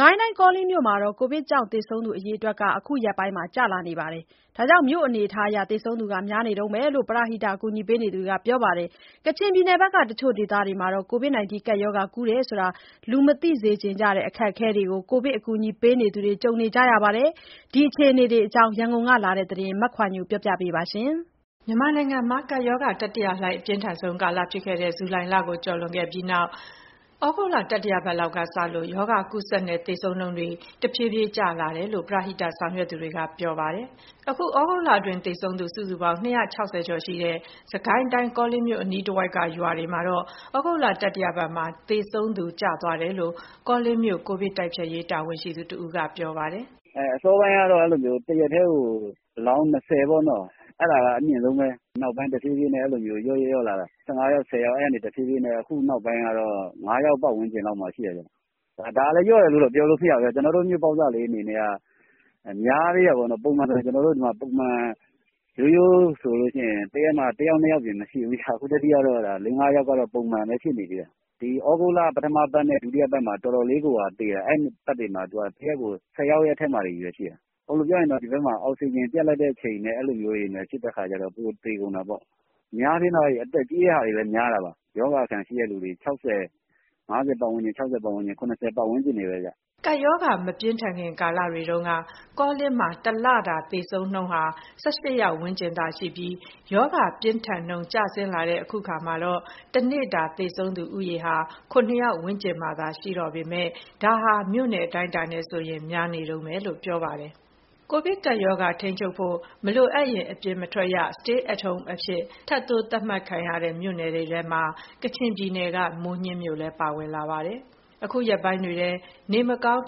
ကိုင်းတိုင်း ကောလင်းမြို့မှာ ကိုဗစ်ကြောင့် သေဆုံးသူအရေအတွက် အခုရက်ပိုင်း ကျလာပေမယ့် မြို့အနေအထားအရ သေဆုံးသူ များနေတုန်းပဲလို့ ပရဟိတ အကူအညီပေးနေသူတွေကပြောပါတယ်။ ကချင်ပြည်နယ်ဘက်က တချို့ဒေသတွေမှာတော့ ကိုဗစ်ကပ်ရောဂါကူးတယ်ဆိုတာ လူမသိစေချင်ကြတဲ့ အခက်အခဲတွေကို ကိုဗစ်အကူအညီပေးသူတွေ ကြုံနေကြရပါတယ်။ ဒီအခြေအနေတွေအကြောင်း ရန်ကုန်ကလာတဲ့သတင်းကို မခွာညိုကပြောပြပါမယ်။ မြန်မာနိုင်ငံမှာ ကပ်ရောဂါတတိယလှိုင်း အပြင်းထန်ဆုံးကာလဖြစ်ခဲ့တဲ့ ဇူလိုင်လကိုကျော်လွန်ခဲ့ပြီးနောက် ဩဂုတ်လ တတိယပတ်လောက်ကစလို့ ရောဂါကူးစက်နဲ့ သေဆုံးနှုန်းတွေ တဖြည်းဖြည်းချင်း ကျလာတယ်လို့ ပရဟိတဆောင်ရွက်သူတွေက ပြောပါတယ်။ အခု သြဂုတ်လအတွင်းသေဆုံးသူ စုစုပေါင်း ၂၆၀ ကျော်ရှိတဲ့ စစ်ကိုင်းတိုင်း၊ ကောလင်းမြို့ အနီးတဝိုက်က ရွာတွေမှာတော့ သြဂုတ်တတိယပတ်မှာ သေဆုံးသူ ကျသွားတယ်လို့ ကောလင်းမြို့ ကိုဗစ်တိုက်ဖျက်ရေး တာဝန်ရှိသူတဦးက ပြောပါတယ်။ "အစောပိုင်းတုန်းကတော့ တရက်တည်းကို အလောင်း ၂၀ ပေါ့၊ အဲဒါက အမြင့်ဆုံးပဲ။ နောက်ပိုင်း တဖြည်းဖြည်းနဲ့ လျော့လျော့လာတာ ၁၅ ယောက်၊ ၁၀ ယောက်။ အဲဒီကနေ အခုနောက်ပိုင်းကတော့ ၅ယောက် ပတ်ဝန်းကျင်လောက်မှာ ရှိတယ်ဗျ။ ဒါကလည်း လျော့တယ်လို့ပြောလို့ မရဘူးဗျ။ ကျနော်တို့ မြို့ပေါက်စလေး အနေနဲ့က များသေးတာပေါ့နော်။ ပုံမှန်ဆိုရင် တရက်ကို ၁ ယောက်၊ ၂ ယောက် အပြင် မရှိဘူးဗျ။ အခုကတော့ ၄၊ ၅ ယောက်က ပုံမှန်ပဲဖြစ်နေသေးတယ်။ ဒီ ဩဂုတ်လ ပထမပတ်နဲ့ ဒုတိယပတ်တွေတုန်းက တရက်ကိုသေတာ ၁၀ ယောက်အထက်တွေချည်းပဲ။ အောက်စီဂျင်ပြတ်တဲ့အချိန်နဲ့ တိုးတဲ့အခါကျတော့ သေကုန်တာပေါ့။ အများအားဖြင့်ကတော့ အသက်ကြီးပြီး ရောဂါအခံရှိတဲ့ အသက် ၅၀၊ ၆၀၊ ၇၀ ပတ်ဝန်းကျင်တွေပဲဗျ။" ကပ်ရောဂါမပြင်းထန်ခင် ကာလတွေတုန်းက ကောလင်းမှာ တလတာသေဆုံးနှုန်းဟာ ၁၈ ယောက် ဝန်းကျင်သာရှိခဲ့ပြီး ရောဂါပြင်းထန်နှုန်း ကျဆင်းလာတဲ့ အခုအခါမှာတော့ တနေ့တာသေဆုံးသူဦးရေဟာ ၇ ယောက်ဝန်းကျင်မှာသာ ရှိတော့ပေမယ့် ဒါဟာ နယ်မြို့အတိုင်းအတာနဲ့ဆိုရင် များနေတုန်းပဲလို့ ပြောပါတယ်။ ကိုဗစ်ကပ်ရောဂါ ထိန်းချုပ်ဖို့ မလိုအပ်ရင် အိမ်ပြင်မထွက်ရ Stay at home အဖြစ် ထပ်တိုး သတ်မှတ်ခံရတဲ့ မြို့နယ်ထဲမှာ ကချင်ပြည်နယ်က မိုးညှင်းမြို့လည်း ပါဝင်လာပါတယ်။ အခုရက်ပိုင်းတွေထဲ နေမကောင်း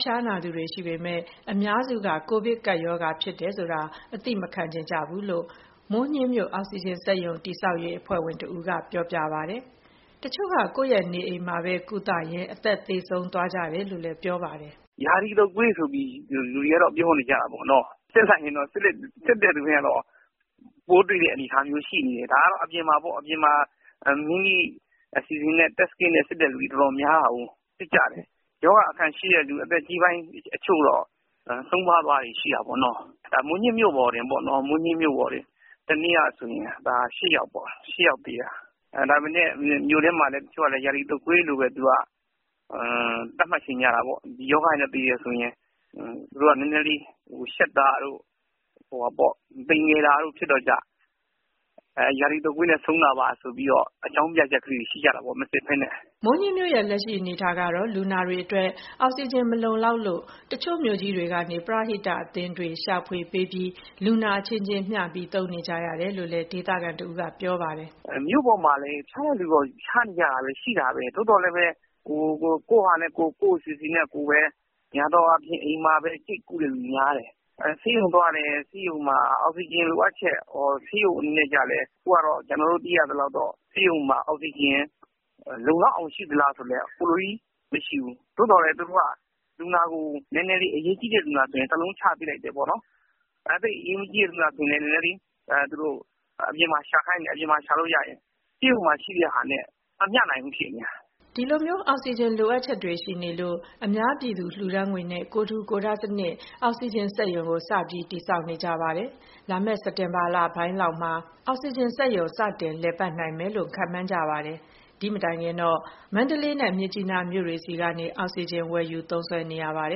ဖျားနာသူတွေ ရှိပေမယ့် အများစုက ကိုဗစ်ကပ်ရောဂါဖြစ်တယ်ဆိုတာ အသိမခံချင်ကြဘူးလို့ မိုးညှင်းမြို့အောက်စီဂျင်စက်ရုံ တည်ဆောက်ရေးအဖွဲ့ဝင်တဦးက ပြောပြပါတယ်။ တချို့က ကိုယ့်ရဲ့နေအိမ်မှာသာ ကုသရင်း အသက်သေဆုံးသွားကြတယ်လို့ ပြောပါတယ်။ "ရာသီတုပ်ကွေးဆိုပြီး လူတွေကတော့ ပြောနေကြတာပေါ့နော်။ စစ်လိုက်ရင်တော့ စစ်တဲ့လူတိုင်းကတော့ ပိုးတွေ့တဲ့အနေအထားမျိုး ရှိနေတယ်။ ဒါကတော့ အပြင်မှာ ကိုယ့်အစီအစဉ်နဲ့ကိုယ် Test kit နဲ့ စစ်ကြတာများတာကို။ ရောဂါအခံရှိတဲ့သူ အသက်ကြီးပိုင်းတချို့တော့ ဆုံးပါးသွားတာတွေ ရှိတာပေါ့နော်။ မိုးညှင်းမြို့ပေါ်တင် တနေ့ကဆိုရင် ၈ယောက် သေတယ်။ ဒါပေမယ့် မြို့ထဲမှာလည်း တချို့က ရာသီတုပ်ကွေးလို့ပဲ သတ်မှတ်ချင်ကြတာပေါ့။ ဒီရောဂါနဲ့သေတယ်ဆိုရင် သူတို့က နည်းနည်းလေးရှက်တာတို့ သိမ်ငယ်တာတို့ ဖြစ်တော့ ရာသီတုပ်ကွေးနဲ့ဆုံးတာပါ ဆိုပြီးတော့ မစစ်ဘဲနဲ့ အကြောင်းပြချက်လေးတွေရှိကြတာပေါ့။" မိုးညှင်းမြို့ရဲ့ လက်ရှိအနေအထားကတော့ လူနာတွေအတွက် အောက်စီဂျင်မလုံလောက်လို့ တချို့မြို့ကြီးတွေကနေ ပရဟိတအသင်းတွေရှာဖွေပေးပြီး လူနာအချင်းချင်း မျှပြီးသုံးနေကြတယ်လို့ ဒေသခံတဦးက ပြောပါတယ်။ "မြို့ပေါ်မှာလည်း ဖျားတဲ့သူကတော့ ဖျားနေကြတာ ရှိတာပဲ။ သို့သော်လည်းပဲ ကိုယ့်အစီအစဉ်နဲ့ကိုယ်ပဲ များသောအားဖြင့် အိမ်မှာပဲ ကျိတ်ကုတဲ့သူ များတယ်။ ဆေးရုံသွားလည်း ဆေးရုံမှာက အောက်စီဂျင်လိုအပ်ချက် အခုကတော့ ကျနော်တို့သိရသလောက်တော့ ဆေးရုံမှာ အောက်စီဂျင်လုံလောက်အောင် ရှိသလားဆိုတော့လဲ မရှိဘူး။ သို့သော်လည်း သူတို့က အရေးကြီးတဲ့လူနာဆိုရင် တလုံးချပေးလိုက်တယ်ပေါ့နော်။ သိပ်အရေးမကြီးတဲ့လူနာဆိုရင် အပြင်မှာရှာခိုင်းတယ်။ ဆေးရုံမှာရှိတဲ့ဟာနဲ့ မမျှနိုင်ဘူးဖြစ်နေတာ။" ဒီလို အောက်စီဂျင်လိုအပ်ချက်ရှိနေလို့ အများပြည်သူလှူဒါန်းငွေနဲ့ ကိုယ်ထူကိုယ်ထစနစ် အောက်စီဂျင်စက်ရုံကို စပြီးတည်ဆောက်နေကြပါတယ်။ လာမယ့် စက်တင်ဘာလပိုင်းရောက်မှ အောက်စီဂျင်စက်ရုံ စတင်လည်ပတ်နိုင်မယ်လို့ ခန့်မှန်းထားကြပါတယ်။ ဒီ့မတိုင်ခင်တော့ မန္တလေးနဲ့ မြစ်ကြီးနားမြို့တွေဆီကနေ အောက်စီဂျင်ဝယ်ယူသုံးစွဲနေကြရပါတ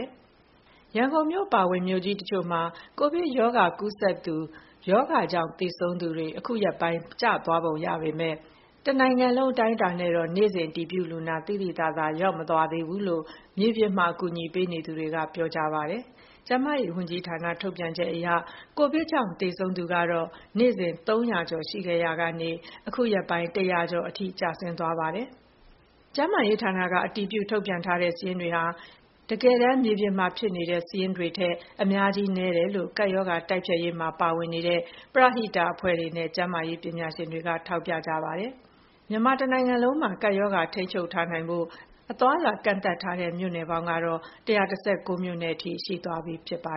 ယ်။ ရန်ကုန်မြို့အပါအဝင် မြို့ကြီးတချို့မှာ ကိုဗစ်ကပ်ရောဂါကူးစက်သူ ရောဂါကြောင့် သေဆုံးသူ အခုရက်ပိုင်း ကျနေပုံရပေမဲ့ တနိုင်ငံလုံးအတိုင်းအတာနဲ့တော့ နေ့စဉ်အတည်ပြုလူနာက သိသိသာသာ လျော့မသွားသေးဘူးလို့ မြေပြင်မှာ အကူအညီပေးနေသူတွေကပြောပါတယ်။ ကျန်းမာရေးဝန်ကြီးဌာန ထုတ်ပြန်ချက်အရ ကိုဗစ်ကြောင့် သေဆုံးသူကတော့ နေ့စဉ် ၃၀၀ ကျော်ရှိခဲ့ရာကနေ အခုရက်ပိုင်း ၁၀၀ ကျော်အထိ ကျသွားပါတယ်။ ကျန်းမာရေးဌာနက အတည်ပြုထုတ်ပြန်တဲ့ စာရင်းတွေဟာ တကယ်တမ်း မြေပြင်မှာ ဖြစ်နေတဲ့စာရင်းတွေထက် အများကြီးနည်းနေတယ်လို့ ကပ်ရောဂါတိုက်ဖျက်ရေးမှာ ပါဝင်နေတဲ့ ပရဟိတအဖွဲ့တွေနဲ့ ကျန်းမာရေးပညာရှင်တွေက ထောက်ပြထားပါတယ်။ မြန်မာတနိုင်ငံလုံးမှာ ကပ်ရောဂါထိန်းချုပ်နိုင်ဖို့အတွက် အသွားအလာကန့်သတ်ထားတဲ့ မြို့နယ်ပေါင်းကတော့ ၁၁၉ မြို့နယ်အထိ ရှိသွားပြီဖြစ်ပါ